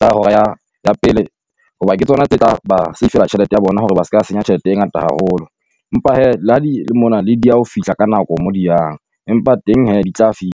tsa hora ya ya pele, hoba ke tsona tse tsa ba save-ela tjhelete ya bona hore ba se ka senya tjhelete e ngata haholo. Empa hee la di le mona le dieha ho fihla ka nako mo di yang, empa teng hee di tla fihla.